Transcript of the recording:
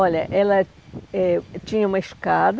Olha, ela eh tinha uma escada,